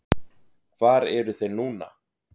Hvar eru þeir núna?